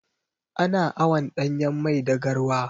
Ana awon ɗanyan mai da garwa.